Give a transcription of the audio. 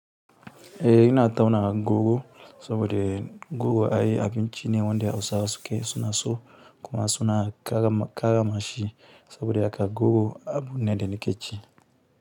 Eh ina tauna goro saboda goro ai abinci ne wanda Hausawa su ke suna so kuma suna ƙarrama shi saboda haka goro abu ne da na ƙi ci.